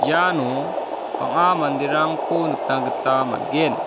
iano bang·a manderangko nikna gita man·gen.